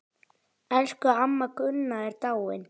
Elsku amma Gunna er dáin.